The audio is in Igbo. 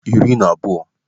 12